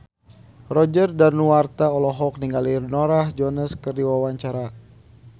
Roger Danuarta olohok ningali Norah Jones keur diwawancara